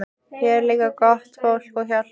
Hér er líka gott fólk og hjálplegt.